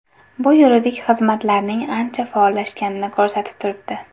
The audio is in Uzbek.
Bu yuridik xizmatlarning ancha faollashganini ko‘rsatib turibdi.